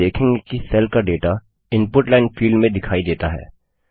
आप देखेंगे कि सेल का डेटा इनपुट लाइन फील्ड में दिखाई देता है